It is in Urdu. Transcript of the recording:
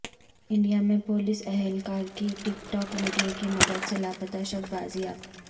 انڈیا میں پولیس اہلکار کی ٹک ٹاک ویڈیو کی مدد سے لاپتہ شخص بازیاب